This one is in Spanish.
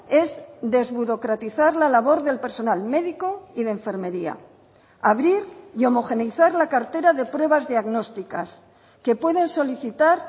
es desburocratizar la labor del personal médico y de enfermería abrir y homogeneizar la cartera de pruebas diagnósticas que pueden solicitar